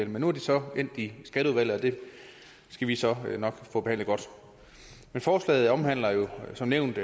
men nu er det så endt i skatteudvalget og det skal vi så nok få behandlet godt forslaget omhandler jo som nævnt